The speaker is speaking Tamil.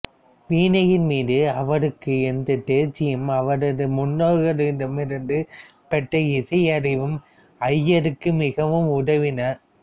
வீணையின் மீது அவருக்கு இருந்த தேர்ச்சியும் அவரது முன்னோர்களிடம் இருந்து பெற்ற இசையறிவும் ஐயருக்கு மிகவும் உதவின